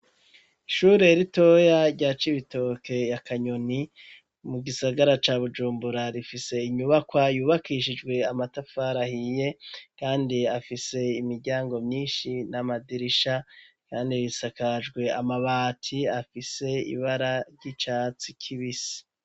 Ishure ritoya rya cibitoke ya kanyoni mugisagara ca bujumbura rifise inyubakwa yubakishijwe amatafari ahiye kandi afise imiryango myinshi n’amadirisha kandi isakajwe amabati afise ibara ry’icatsi kibisi.